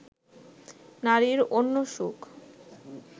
নারীর অন্য সুখ